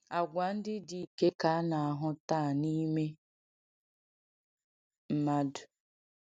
Àgwà ndị dike ka a na-ahụ taa n’ime mmadụ.